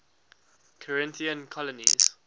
corinthian colonies